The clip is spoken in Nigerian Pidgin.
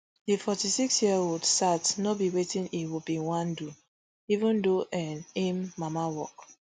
di forty-six year old sat no be wetin e bin wan do even though n aim mama work